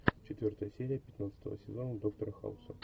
четвертая серия пятнадцатого сезона доктора хауса